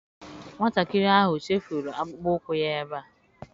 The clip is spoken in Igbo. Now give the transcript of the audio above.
Nwatakịrị ahụ chefuru akpụkpọ ụkwụ ya ebe a.